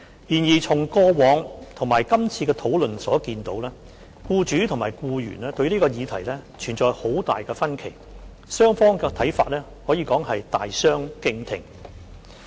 然而，從過往及今次的討論所見，僱主及僱員對這項議題存在很大分歧，雙方的看法可以說是大相逕庭。